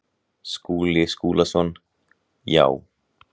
Skúli Skúlason: Já.